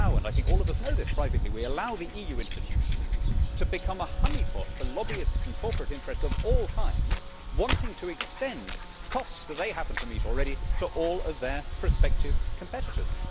We allow and I think all of us know this privately the EU institutions to become a honeypot for lobbyists and corporate interests of all kinds wanting to extend costs that they happen to meet already to all of their prospective competitors.